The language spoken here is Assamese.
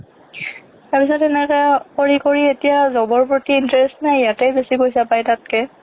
তাৰপিছত এনেকে কৰি কৰি এতিয়া job ৰ প্ৰতি interest নাই ইয়াতে বেছি পইচা পায় তাতকে